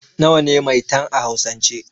Nawa ne 'Maitan' a hausan ce?